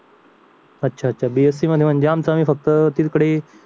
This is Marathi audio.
अच्छा अच्छा BSC म्हणजे आमच्या आमच्या फक्त तिकडे